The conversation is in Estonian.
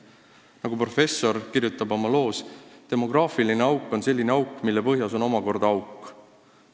Nagu professor kirjutab oma loos: "Demograafiline auk on selline auk, mille põhjas on omakorda auk.